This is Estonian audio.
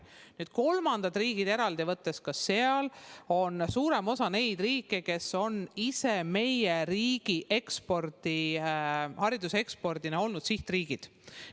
Nüüd, kolmandad riigid eraldi võetuna – ka seal on suurem osa neid riike, kes on ise meie riigi hariduse ekspordi puhul olnud sihtriigid.